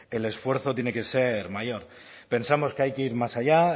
el esfuerzo tiene que ser mayor pensamos que hay que ir más allá